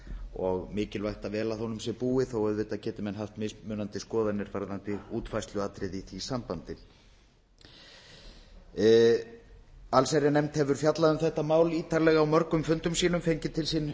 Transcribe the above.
og mikilvægt að vel að honum sé búið þó að auðvitað geti menn haft mismunandi skoðanir varðandi útfærsluatriði í því sambandi allsherjarnefnd hefur fjallað um þetta mál ítarlega á mörgum fundum sínum fengið til sín